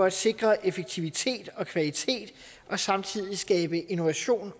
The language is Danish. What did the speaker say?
at sikre effektivitet og kvalitet og samtidig skabe innovation